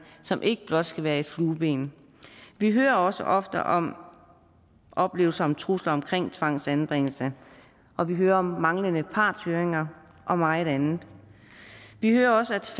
som ikke blot skal være et flueben vi hører også ofte om oplevelser om trusler omkring tvangsanbringelse og vi hører om manglende partshøringer og meget andet vi hører også